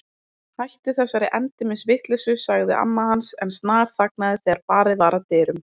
Hættu þessari endemis vitleysu sagði amma hans en snarþagnaði þegar barið var að dyrum.